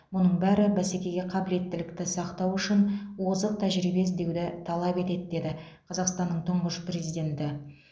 мұның бәрі бәсекеге қабілеттілікті сақтау үшін озық тәжірибе іздеуді талап етеді деді қазақстанның тұңғыш президенті